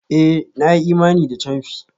Eh! Na yi imani da camfi.